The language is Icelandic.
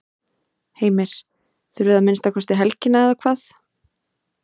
Heimir: Þurfið að minnsta kosti helgina eða hvað?